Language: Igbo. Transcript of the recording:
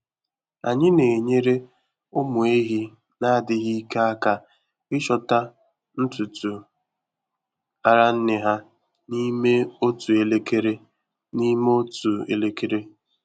Anyị na-enyere ụmụ ehi na-adịghị ike aka ịchọta ntutu ara nne ha n'ime otu elekere. n'ime otu elekere.